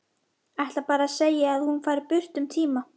Ætlar bara að segja að hún fari burt um tíma.